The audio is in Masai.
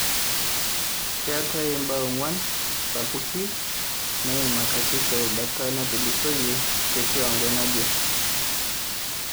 Keetai imbaa ong'uan sapukin naiimakaki terubata natulusoyie tekiwango naje